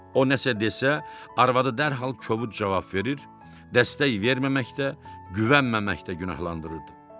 O nəsə desə, arvadı dərhal kobud cavab verir, dəstək verməməkdə, güvənməməkdə günahlandırırdı.